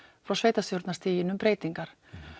frá sveitastjórnarstiginu um breytingar